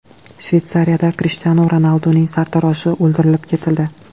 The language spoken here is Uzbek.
Shveysariyada Krishtianu Ronalduning sartaroshi o‘ldirib ketildi.